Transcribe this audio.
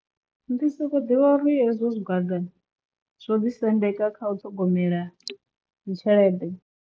Ndi soko ḓivha uri hezwo zwigwada zwo ḓi sendeka kha u ṱhogomela dzi tshelede.